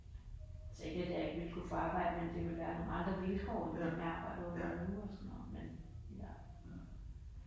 Altså ikke at jeg ikke ville kunne få arbejde men det ville være nogle andre vilkår end dem jeg arbejder under nu og sådan noget men i hvert fald